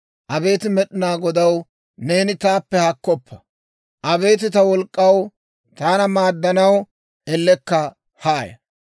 Abeet Med'inaa Godaw, neeni taappe haakkoppa. Abeet ta wolk'k'aw, taana maaddanaw ellekka haaya.